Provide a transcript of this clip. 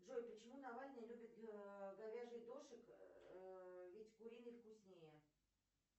джой почему навальный любит говяжий дошик ведь куриный вкуснее